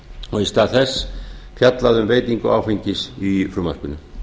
og í stað þess fjallað um veitingu áfengis í frumvarpinu